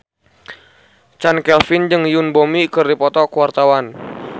Chand Kelvin jeung Yoon Bomi keur dipoto ku wartawan